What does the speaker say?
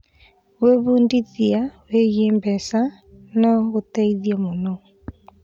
Gwĩbundithia wĩgiĩ mbeca no gũteithie mũno.